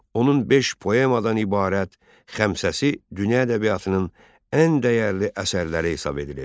Onun beş poemadan ibarət Xəmsəsi dünya ədəbiyyatının ən dəyərli əsərləri hesab edilir.